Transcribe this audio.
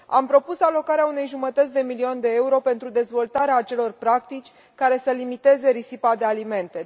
Am propus alocarea unei jumătăți de milion de euro pentru dezvoltarea acelor practici care să limiteze risipa de alimente.